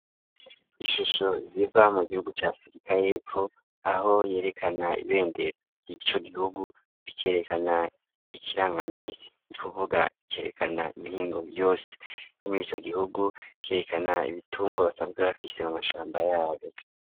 Ishusho ziva mu gihugu ca Afrika yepfo, aho yerekana ibendera ry'ico gihugu, rikerekana ikirangaminsi. Ni kuvuga cerekana imihingo yose yo muri ico gihugu, ikerekana ibitungwa basanzwe bafise mu mashamba yabo.